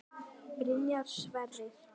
Byrjar Sverrir?